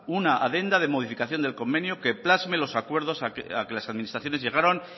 una adenda de modificación del convenio que plasme los acuerdos a los que las administraciones llegaron